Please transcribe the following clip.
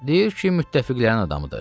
Deyir ki, müttəfiqlərin adamıdır.